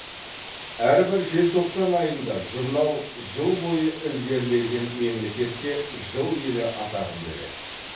әрбір желтоқсан айында журнал жыл бойы ілгерілеген мемлекетке жыл елі атағын береді